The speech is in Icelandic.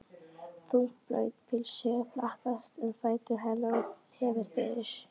Þungt blautt pilsið flaksast um fætur hennar og tefur fyrir.